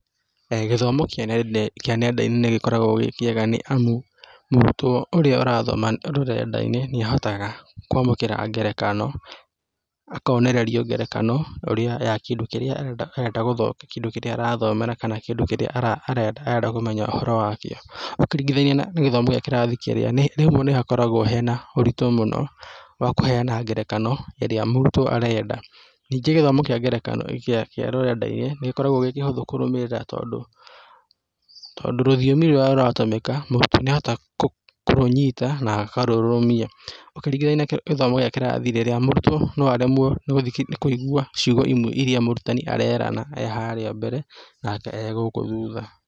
Gĩthomo kĩa nenda-inĩ nĩ gĩkoragwo gĩ kĩega nĩ amu mũrutwo ũrĩa ũrathoma rũrenda-inĩ nĩ ahotaga kwamũkĩra ngerekano, akonererio ngerekano ũrĩa, ya kĩndũ kĩrĩa arenda gũthomera kĩndũ kĩrĩa arathomera kana kĩndũ kĩrĩa arenda kũmenya ũhoro wa kĩo ũkĩringithania na gĩthomo gĩa kirathi kĩrĩa, rĩmwe nĩ hakoragwo na ũritũ mũno, wa kũheana ngerekano, ĩrĩa mũrutwo arenda. Ningĩ gĩthomo kĩa ngerekano, kĩa rũrenda-inĩ, nĩ gĩkoragwo gĩ kĩhũthũ kũrũmĩrĩra tondũ, tondũ rũthiomi rũrĩa rũratũmĩka, mũrutwo nĩ ahotaga kũrũnyita na akarũrũmia, ũkĩringithania na gĩthomo gĩa kĩrathi, rĩrĩa mũrutwo no aremwo nĩ,,nĩ kũigua ciugo imwe iria mũrutani arerana e harĩa mbere, nake e gũkũ thutha.